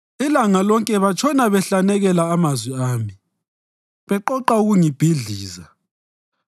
Ilanga lonke batshona behlanekela amazwi ami; beqoqa ukungibhidliza.